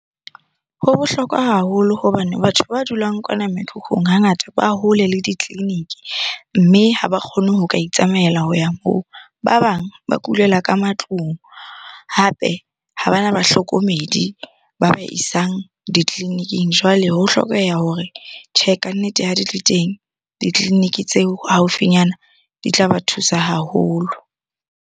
Ho bohlokwa haholo hobane batho ba dulang kwana mekhukhung hangata ba hole le ditleliniki, mme ha ba kgone ho ka itsamaela ho ya moo. Ba bang ba kulela ka matlung, hape ha bana bahlokomedi ba ba isang ditleliniking. Jwale ho hlokeha hore tjhe, kannete ha di le teng ditleliniking tseo haufinyana di tlaba thusa haholo.